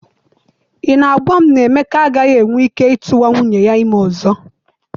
I na-agwa m na Emeka agaghị enwe ike ịtụwa nwunye ya ime ọzọ?